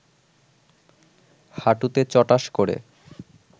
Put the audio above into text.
হাঁটুতে চটাস করে